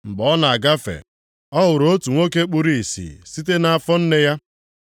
Mgbe ọ na-agafe, ọ hụrụ otu nwoke kpuru ìsì site nʼafọ nne ya.